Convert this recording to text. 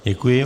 Děkuji.